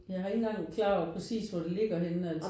Jeg har ikke engang klar over præcist hvor det ligger henne altså